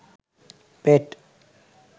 পেট